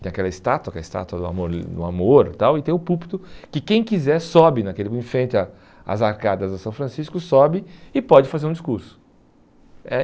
Tem aquela estátua, que é a estátua do amor, eh do amor tal e tem o púlpito, que quem quiser sobe naquele, em frente a às arcadas de São Francisco, sobe e pode fazer um discurso. Eh